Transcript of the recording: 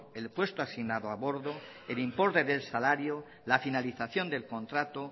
el puesto asignado a bordo el importe del salario la finalización del contrato